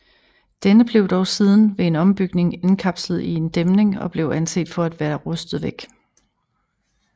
Denne blev dog siden ved en ombygning indkapslet i en dæmning og blev anset for at være rustet væk